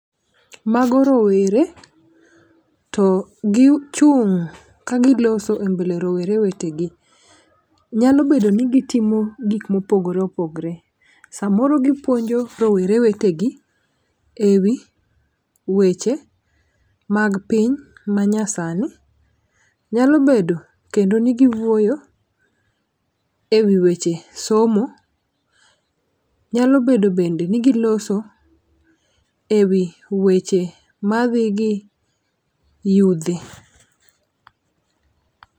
Mago rowere to gichung' ka giloso e mbele rowere wetegi. Nyalo bedo ni gitimo gik mopogore opogre samoro gipuonjo rowere wetegi ewi weche mag piny manyasani .Nyalo bedo kendo ni giwuoyo ewi weche somo , nyalo bedo bende ni giloso ewi weche madhi gi yudhe.